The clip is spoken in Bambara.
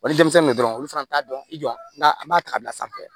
Wali denmisɛnnu dɔrɔnw olu fana t'a dɔn i jɔ n ka an b'a ta ka bila sanfɛ